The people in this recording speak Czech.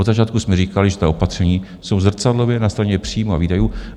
Od začátku jsme říkali, že ta opatření jsou zrcadlově na straně příjmů a výdajů.